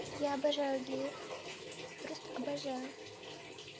я обожаю геев просто обожаю